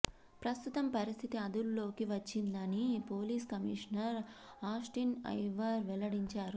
ప్రస్తుతం పరిస్థితి అదుపులోకి వచ్చిందని పోలీస్ కమిషనర్ ఆస్టిన్ ఐవర్ వెల్లడించారు